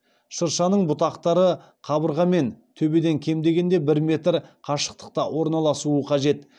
шыршаның бұтақтары қабырға мен төбеден кем дегенде бір метр қашықтықта орналасуы қажет